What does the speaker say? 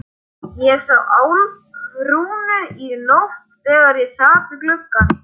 Ég sá Álfrúnu í nótt þegar ég sat við gluggann.